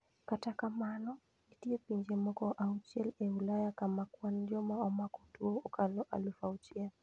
Kata kamano, nitie pinje moko auchiel e Ulaya kama kwan joma omako tuo okalo aluf achiel.